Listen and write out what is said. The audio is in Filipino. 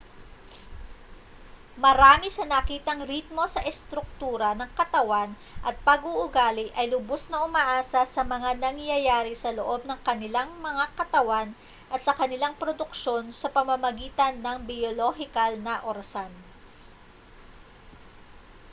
marami sa nakitang ritmo sa estruktura ng katawan at pag-uugali ay lubos na umaasa sa mga nangyayari sa loob ng kanilang mga katawan at sa kanilang produksyon sa pamamagitan ng biyolohikal na orasan